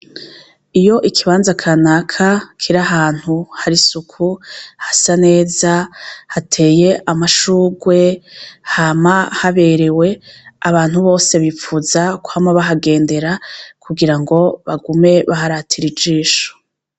Iyo ikibanza kanaka kiri ahantu hari isuku, hasa neza, hateye amashurwe, hama haberewe abantu bose bifuza kuguma bahagendera kugira ngo bagume baharatira ijisho.